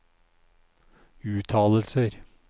uttalelser